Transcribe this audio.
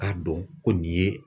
K'a dɔn ko nin ye